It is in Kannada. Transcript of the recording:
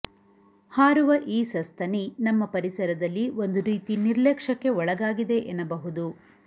ಹಾರುವ ಈ ಸಸ್ತನಿ ನಮ್ಮ ಪರಿಸರದಲ್ಲಿ ಒಂದು ರೀತಿ ನಿರ್ಲಕ್ಷ್ಯಕ್ಕೆ ಒಳಗಾಗಿದೆ ಎನ್ನಬಹುದು